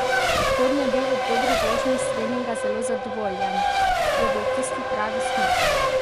Šporn je bil ob dobri vožnji s treninga zelo zadovoljen: "Je bil tisti pravi smuk.